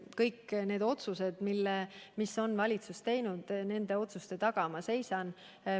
Kõik otsused, mis on valitsus teinud, nende taga ma seisan.